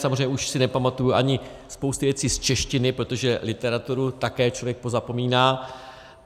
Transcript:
Samozřejmě už si nepamatuji ani spousty věcí z češtiny, protože literaturu také člověk pozapomíná.